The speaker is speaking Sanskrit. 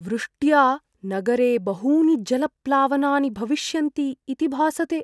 वृष्ट्या नगरे बहूनि जलप्लावनानि भविष्यन्ति इति भासते।